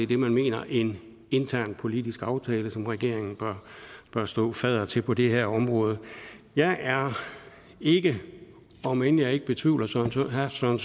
det man mener en intern politisk aftale som regeringen bør stå fadder til på det her område jeg er ikke om end jeg ikke betvivler herre søren